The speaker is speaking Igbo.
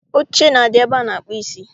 Oche na-adị ebe a na-akpụ isi